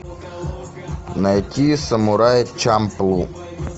найти самурай чамплу